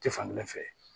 Tɛ fan kelen fɛ